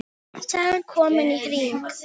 Sagan komin í hring.